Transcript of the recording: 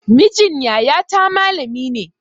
Mijin yaya ta malami ne